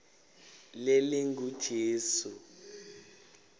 lelingujesu